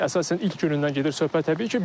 Əsasən ilk günündən gedir söhbət təbii ki.